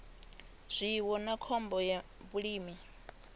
zwiwo na khombo ya vhulimi